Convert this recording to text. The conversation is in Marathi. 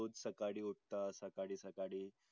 रोज सकाडी उटता साकडी साकडी.